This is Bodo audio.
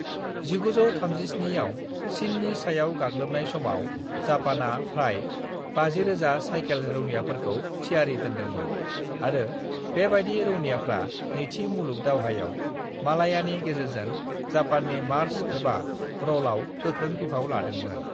"1937 आव चीननि सायाव गाग्लोबनाय समाव जापाना फ्राय 50,000 सायखेल रौनियाफोरखौ थियारि दोनदोंमोन आरो बेबायदि रौनियाफ्रा नैथि मुलुग दावहायाव मलायानि गेजेरजों जापाननि मार्च एबा 'रल' आव गोख्रों बिफाव लादोंमोन।"